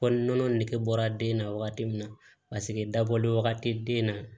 Kɔli nɔnɔ nege bɔra den na wagati min na paseke dabɔlen wagati den na